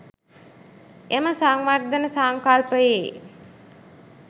එම සංවර්ධන සංකල්පයේ